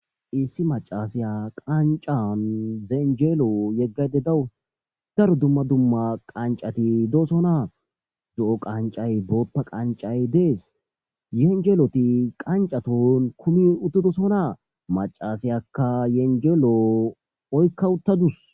issi macasiya qancan yeenjeelo yeggayde dawu daro dumma dumma qancati doosonaa zo7o qancay bootha qancay dees yeenjeloti qancaton kumi uttudosonaa macasiyakka yenjelo oykka uttadus